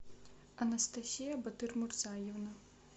анастасия батырмурзаевна